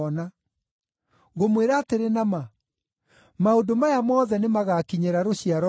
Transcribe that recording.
Ngũmwĩra atĩrĩ na ma, maũndũ maya mothe nĩmagakinyĩra rũciaro rũrũ.